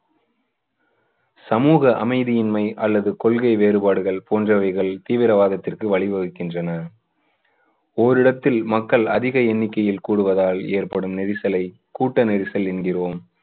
சமூக அமைதியின்மை அல்லது கொள்கை வேறுபாடுகள் போன்றவைகள் தீவிரவாதத்திற்கு வழி வகுக்கின்றன. ஓரிடத்தில் மக்கள் அதிக எண்ணிக்கையில் கூடுவதால் ஏற்படும் நெரிசலை கூட்ட நெரிசல் என்கிறோம்.